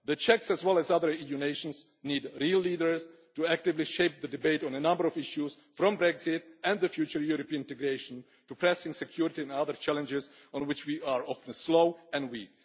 The Czechs as well as other EU nations need real leaders to actively shape the debate on a number of issues, from Brexit and the future European integration to pressing security and other challenges on which we are often slow and weak.